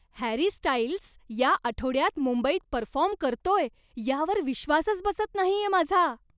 Harry Styles या आठवड्यात मुंबईत परफॉर्म करतोय यावर विश्वासच बसत नाहीये माझा.